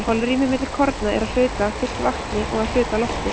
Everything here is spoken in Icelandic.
holrými milli korna er að hluta fyllt vatni og að hluta lofti